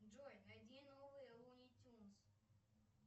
джой найди новые луни тюнс